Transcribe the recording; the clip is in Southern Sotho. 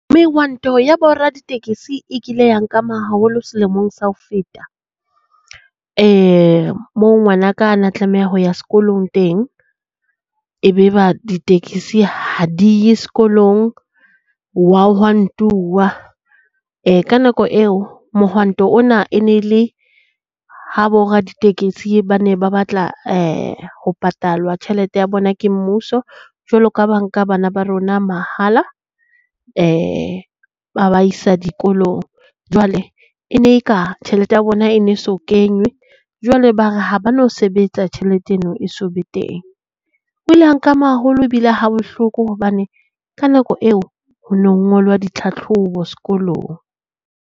Mehwanto ya bo raditekesi e kile ya nkama haholo selemong sa ho feta. Moo ngwanaka a na tlameha ho ya sekolong teng, e be ba ditekesi ha di ye sekolong hwa hwantuwa. Ka nako eo mohwanto ona e ne le ha bo raditekesi ba ne ba batla ho patalwa tjhelete ya bona ke mmuso jwalo ka ha ba nka bana ba rona mahala ba ba isa dikolong. Jwale e ne e ka tjhelete ya bona e ne so kenywe jwale ba re ha ba no sebetsa tjhelete eno e so be teng. Ho ile ha nkama haholo ebile ha bohloko hobane ka nako eo ho no ngolwa ditlhatlhobo sekolong.